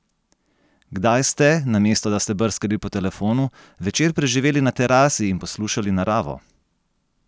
Kdaj ste, namesto da ste brskali po telefonu, večer preživeli na terasi in poslušali naravo?